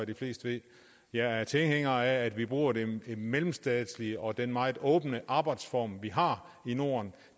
de fleste ved jeg er tilhænger af at vi bruger den mellemstatslige og den meget åbne arbejdsform vi har i norden